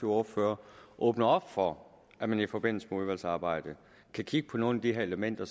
ordfører åbne op for at man i forbindelse med udvalgsarbejdet kan kigge på nogle af de her elementer